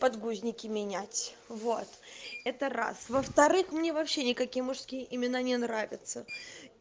подгузники менять вот это раз во вторых мне вообще никакие мужские имена не нравятся